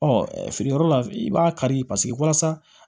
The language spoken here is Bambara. Ɔ feere yɔrɔ la i b'a kari paseke walasa